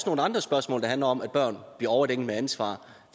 nogle andre spørgsmål der handler om at børn bliver overdænget med ansvar